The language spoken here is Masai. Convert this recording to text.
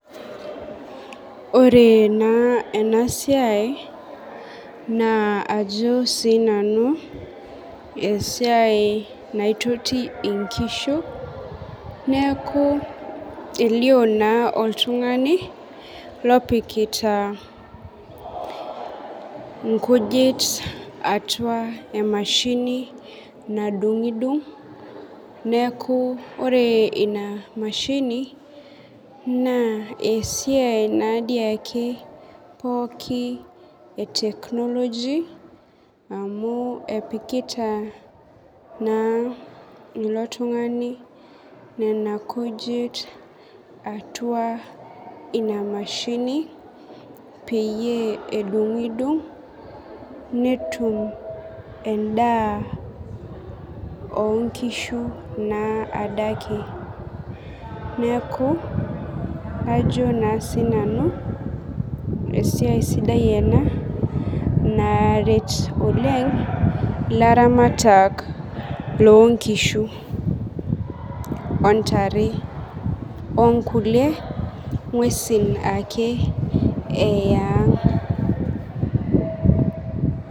Ore naa enasiai, naa ajo sinanu esiai naitoti inkishu, neeku elio naa oltung'ani, lopikita inkujit atua emashini nadung'dung, neeku ore ina mashini, naa esiai nadii ake pooki e technology, amu epikita naa ilo tung'ani nena kujit atua ina mashini, peyie edung'dung, netum endaa onkishu naa adake. Neeku, kajo naa sinanu, esiai sidai ena naa naret oleng, ilaramatak lonkishu, ontare, onkulie ng'uesin ake eang'.